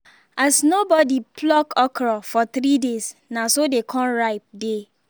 as nobody pluck okra for three days na so dey con ripe dey